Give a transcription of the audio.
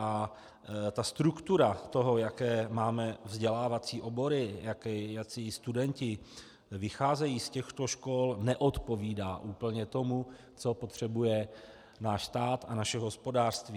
A ta struktura toho, jaké máme vzdělávací obory, jací studenti vycházejí z těchto škol, neodpovídá úplně tomu, co potřebuje náš stát a naše hospodářství.